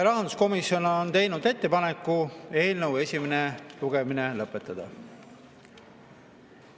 Rahanduskomisjon on teinud ettepaneku eelnõu esimene lugemine lõpetada.